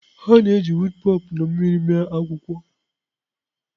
A na-eji woop pulp na mmiri mee akwụkwọ.